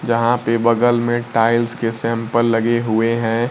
यहां पे बगल में टाइल्स के सैंपल लगे हुए हैं।